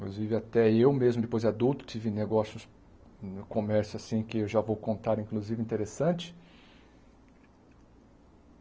Inclusive até eu mesmo, depois de adulto, tive negócios no comércio, assim, que eu já vou contar, inclusive, interessante.